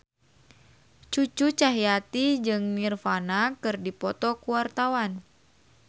Cucu Cahyati jeung Nirvana keur dipoto ku wartawan